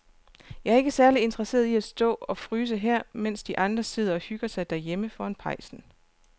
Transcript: Jeg er ikke særlig interesseret i at stå og fryse her, mens de andre sidder og hygger sig derhjemme foran pejsen.